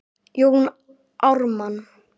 Jón Ármann